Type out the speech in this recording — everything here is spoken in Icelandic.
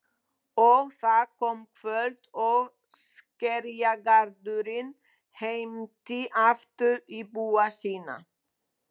Og það kom kvöld og Skerjagarðurinn heimti aftur íbúa sína.